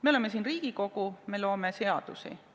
Me oleme siin Riigikogu, me loome seadusi.